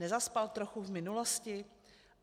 Nezaspal trochu v minulosti?